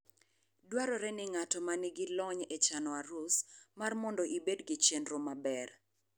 Dwarore ni ng'at ma nigi lony e chano arus, mar mondo ibed gi chenro maber.